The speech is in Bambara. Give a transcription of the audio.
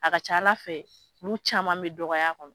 A ka ca ala fɛ nu caman bɛ dɔgɔya kɔnɔ.